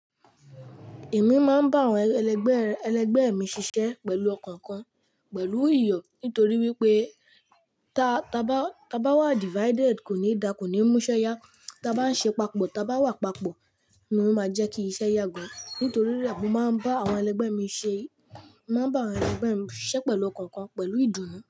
Èmi máa ń bá àwọn ẹlẹgbẹ́, ẹlẹgbẹ́ mi ṣiṣẹ́ pẹ̀lú ọkàn kan pẹ̀lú iyọ̀. Nítorí wípé ta, ta bá, ta bá wà divided kò ní dá, kò ní múṣẹ́ yá. Ta bá ń ṣe papọ̀, ta bá wà papọ̀ ni ó máa jẹ́ kí iṣẹ́ yà gán. Nítorí rẹ̀, mo máa ń bá àwọn ẹlẹgbẹ́ mi ṣe, máa ń bá àwọn ẹlẹgbẹ́ mi ṣiṣẹ́ pẹ̀lú ọkàn kan, pẹ̀lú ìdùnnú.